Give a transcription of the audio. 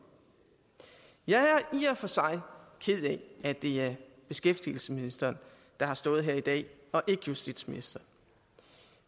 jeg og for sig ked af at det er beskæftigelsesministeren der har stået her i dag og ikke justitsministeren